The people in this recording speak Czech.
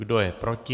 Kdo je proti?